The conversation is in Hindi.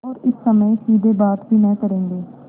और इस समय सीधे बात भी न करेंगे